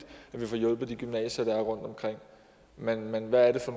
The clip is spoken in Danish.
at vi får hjulpet de gymnasier der er rundtomkring men men hvad er det så